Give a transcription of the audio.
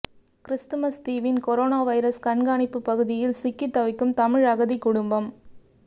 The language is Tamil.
கிறிஸ்துமஸ் தீவின் கொரோனா வைரஸ் கண்காணிப்பு பகுதியில் சிக்கி தவிக்கும் தமிழ் அகதி குடும்பம்